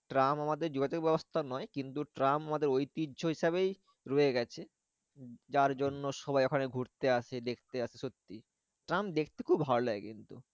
Tram আমাদের যোগাযোগ ব্যবস্থা নয় কিন্তু ট্রাম আমাদের ঐতিহ্য হিসাবেই রয়ে গেছে। যার জন্য সবাই ওখানে ঘুরতে আসে দেখতে আসে সত্যি। ট্রাম দেখতে খুব ভালো লাগে কিন্তু